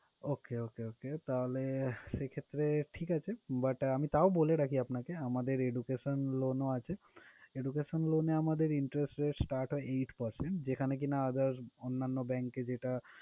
Okay, okay, okay তাহলে এক্ষেত্রে ঠিক আছে, but আমি তাও বলে রাখি আপনাকে, আমাদের education loan ও আছে। education loan এ আমাদের interest rate start হয় eight percent, যেখানে কিনা other অন্যান্য bank এ যেটা